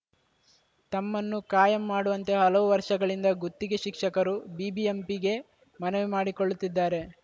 ತಮ್ಮನ್ನು ಕಾಯಂ ಮಾಡುವಂತೆ ಹಲವು ವರ್ಷಗಳಿಂದ ಗುತ್ತಿಗೆ ಶಿಕ್ಷಕರು ಬಿಬಿಎಂಪಿಗೆ ಮನವಿ ಮಾಡಿಕೊಳ್ಳುತ್ತಿದ್ದಾರೆ